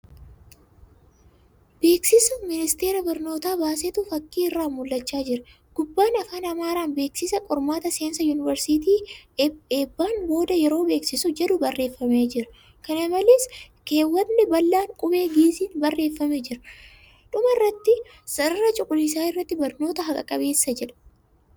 Beeksisa ministerri barnoota baasetu fakkii irraa mul'achaa jira. Gubbaan afaan Amaaraan ' Beeksisa, qormaata seensa yuunivarsiitii eebbaan boodaa yeroo beeksisuu' jedhu barreeffamee jira. Kana malees, keewwatni bal'aan qubee Gi'iziin barreeffame jira. Dhuma irratti sarara cuquliisa irratti 'barnoota haqa qabeessa jedha.